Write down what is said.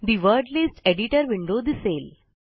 ठे word list editor window दिसेल